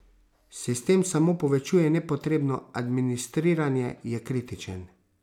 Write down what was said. Sistem samo povečuje nepotrebno administriranje, je kritičen.